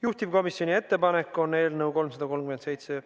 Juhtivkomisjoni ettepanek on eelnõu 337 ...